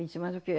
disse, mas o quê?